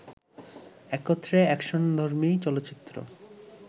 একত্রে অ্যাকশনধর্মী চলচ্চিত্র